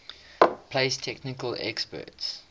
place technical experts